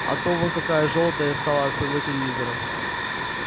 а то вон какая жёлтая стала от своего телевизора